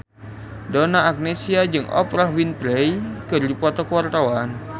Donna Agnesia jeung Oprah Winfrey keur dipoto ku wartawan